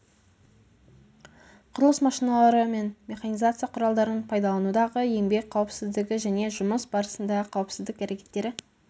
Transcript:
құрылыс машиналары мен механизация құралдарын пайдаланудағы еңбек қауіпсіздігі және жұмыс барысындағы қауіпсіздік әрекеттері